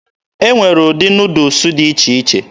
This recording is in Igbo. E nwere ụdị Nuudus dị iche iche.